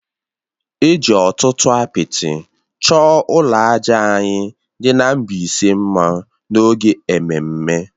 E ji ọtụtụ apịtị chọọ ụlọ àjà anyị dị na Mbaise mma n’oge ememme